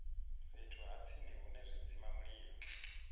fhethu ha tsini hune zwidzimamulilo